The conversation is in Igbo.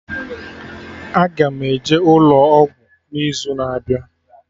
Aga m eje ụlọ ọgwụ n'izu na-abịa